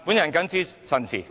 我謹此陳辭。